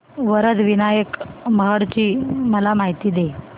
वरद विनायक महड ची मला माहिती दे